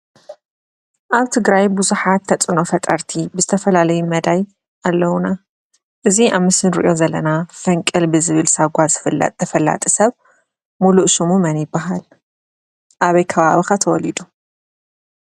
ኣብ ትግራይ ብዙሓት ተፅእኖ ፈጠርቲ ብዝተፈላለየ መዳይ ኣለውዋ። እዚ ኣብ ምስሊ እንሪኦ ዘለና ፈንቅል ብዝብል ዝፍለጥ ተፈላጢ ሰብ ሙሉእ ሽሙ መን ይባሃል? ኣበይ ከባቢ ከ ተወሊዱ?